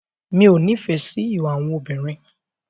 Mi ò nífẹ̀ẹ́ sí ìwà àwọn obìnrin.